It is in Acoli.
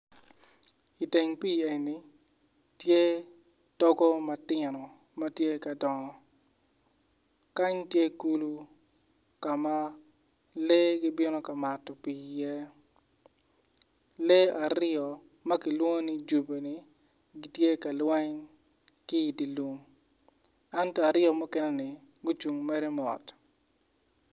Iteng pii eni tye togo matino ma tye ka dongo kany tye kulu ka ma lee gibino ka mato pii iye lee aryo ma kilwongo ni jobi-ni gitye ka lweny kiidye lum ento aryo muekeneni gucung mere mot.